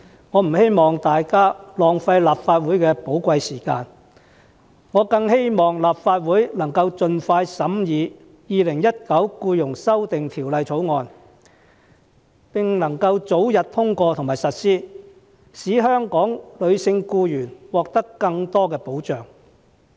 我不希望大家浪費立法會的寶貴時間，我反而希望立法會能夠盡快審議《2019年僱傭條例草案》，並使其早日通過和實施，讓香港的女性僱員獲得更多保障。